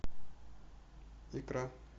икра